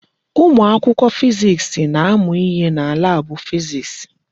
Ụmụ akwụkwọ fiziks na-amụ ihe na laabụ fiziks.